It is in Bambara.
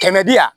Kɛmɛ di yan